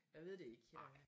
Jeg ved det ikke